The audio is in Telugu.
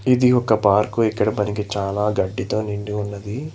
ఇది ఒక పార్కు ఇక్కడ మనకి చాలా గడ్డితో నిండి ఉన్నది.